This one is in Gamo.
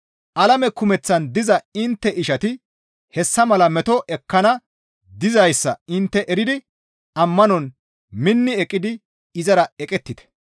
Alame kumeththaan diza intte ishati hessa mala meto ekkana dizayssa intte eridi ammanon minni eqqidi izara eqettite.